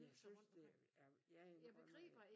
Jeg synes det jeg jeg indrømmer at